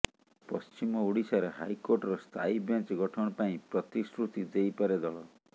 ପଶ୍ଚିମ ଓଡିଶାରେ ହାଇକୋର୍ଟର ସ୍ଥାୟୀ ବେଞ୍ଚ ଗଠନ ପାଇଁ ପ୍ରତିଶୃତି ଦେଇପାରେ ଦଳ